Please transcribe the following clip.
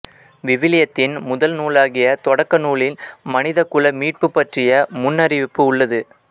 விவிலியத்தின் முதல் நூலாகிய தொடக்க நூலில் மனிதகுல மீட்புப் பற்றிய முன்னறிவிப்பு உள்ளது